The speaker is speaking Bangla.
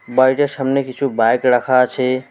বাড়িটার সামনে কিছু বাইক রাখা আছে।